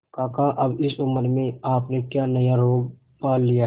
काका अब इस उम्र में आपने क्या नया रोग पाल लिया है